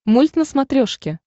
мульт на смотрешке